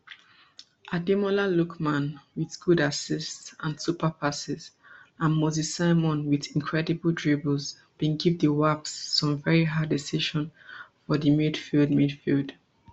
ademola lookman wit good assists and super passes and moses simon wit incredible dribbles bin give the wasps some veri hard decision for di midfield midfield